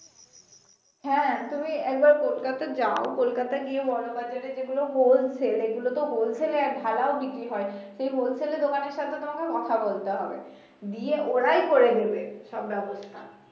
হ্যা তুমি একবার কলকাতা যাও কলকাতায় গিয়ে বড় বাজারে যেগুলো wholesale এগুলো তো wholesale এ ঢালাও বিক্রি হয় সে wholesale এর দোকানের সাথে তোমাকে কথা বলতে হবে গিয়ে ওরাই করে দিবে সব ব্যাবস্থা।